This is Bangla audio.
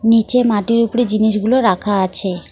নীচে মাটির উপরে জিনিসগুলো রাখা আছে।